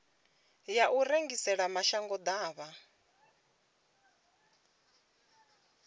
ya u rengisela mashango ḓavha